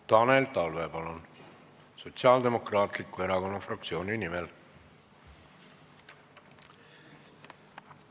Tanel Talve, palun, Sotsiaaldemokraatliku Erakonna fraktsiooni nimel!